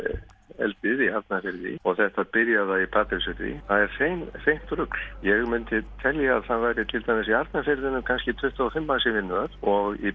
eldið í Arnarfirði og þetta byrjaða í Patreksfirði það er hreint hreint rugl ég myndi telja að það væru til dæmis í Arnarfirðinum kannski tuttugu og fimm manns í vinnu þar og í